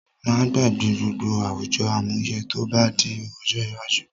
Má gbàgbé gbogbo àwùjọ àmúyẹ tó bá di ojó iwájú